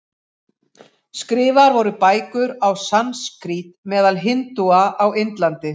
Skrifaðar voru bækur á sanskrít meðal hindúa á Indlandi.